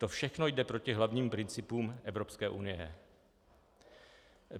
To všechno jde proti hlavním principům Evropské unie.